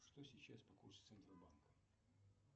что сейчас по курсу центробанка